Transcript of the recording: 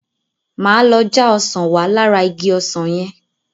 Máa lọ já ọsàn wá lára igi ọsàn yẹn.